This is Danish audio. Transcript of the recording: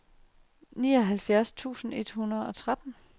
nioghalvfjerds tusind et hundrede og tretten